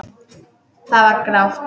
Það var grátt.